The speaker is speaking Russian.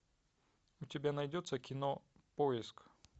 у тебя найдется кино поиск